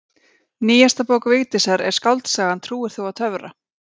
Nýjasta bók Vigdísar er skáldsagan Trúir þú á töfra?